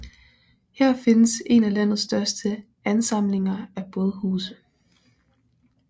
Her findes en af landets største ansamlinger af bådhuse